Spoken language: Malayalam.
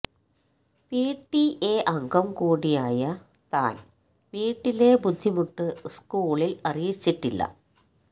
പിടിഎ അംഗം കൂടിയായ താന് വീട്ടിലെ ബുദ്ധിമുട്ട് സ്കൂളില് അറിയിച്ചിട്ടില്ല